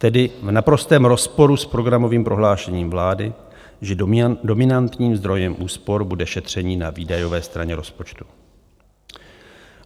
Tedy v naprostém rozporu s programovým prohlášením vlády, že dominantním zdrojem úspor bude šetření na výdajové straně rozpočtu.